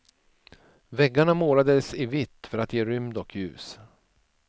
Väggarna målades i vitt för att ge rymd och ljus.